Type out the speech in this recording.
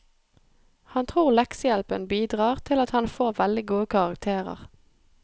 Han tror leksehjelpen bidrar til at han får veldig gode karakterer.